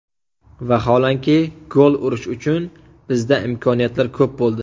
Vaholanki gol urish uchun bizda imkoniyatlar ko‘p bo‘ldi.